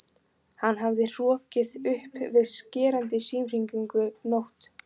Hann hafði hrokkið upp við skerandi símhringingu nótt